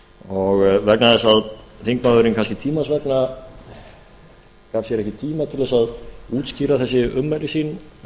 vegna þess að þingmaðurinn kannski tímans vegna gaf sér ekki tíma til að útskýra þessi ummæli sín